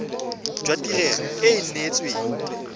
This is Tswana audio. jwa tirelo e e neetsweng